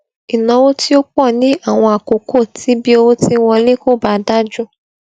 ìnáwó tí ó pọ ní àwọn àkókò tí bí owó ti ń wọlé kò bá dájú